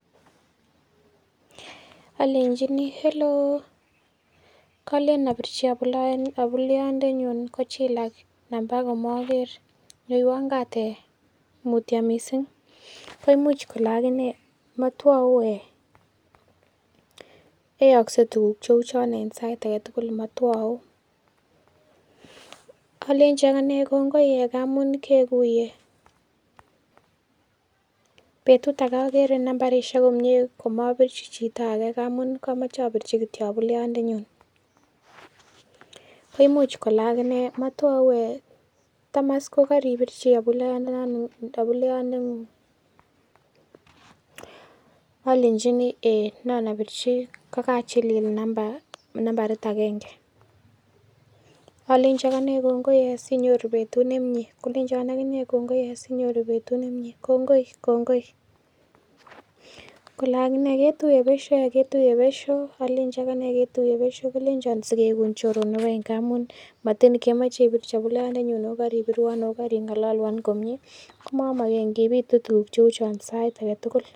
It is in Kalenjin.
Olenjini: "Hellouw! Kolen abirchi abuleyondenyun kochilak namba komoger, nyoiwon kaat eeh mutyo mising." Koimuch kole ake inee "motwou eeh, yaakse tuguk cheu chon en sait age tugul motwou" Alenji ak anee "kongoi eeh ngamun keguiye, betut age ogere nambarishek komyee komobirchi chito age ngamun komoeobirchi kityo abuleyondenyun" Koimuch kole ak inee "matotwou eeh tome iss kokaripirchi abuleyondeng'ung" Alenchini: " eeiy nan abirchi kogachilili nambarit agenge" Alenchi ak anee "kongoi eeh, sinyoru betut nemyee" Kolenchon ak inee "kongoi eeh sinyoru betut nemyee, kongoi" "kongoi" Kole ak inee:"ketuiye besho" Alenji ak anee :"ketuiye besho" Kolenchon "sikeigun choronok any ngamun motin kemoche ibirchi abuleyondeng'ung ago koribirwon ak ing'ololwon komie komomoken kiy bitu tuguk cheu chon sait age tugul"